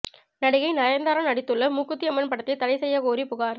நடிகை நயன்தாரா நடித்துள்ள மூக்குத்தி அம்மன் படத்தை தடை செய்யக் கோரி புகார்